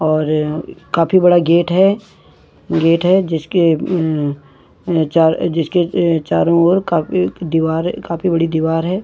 और काफी बड़ा गेट है गेट है जिसके उम चार जिसके अ चारों ओर काफी दिवार काफी बड़ी दिवार है।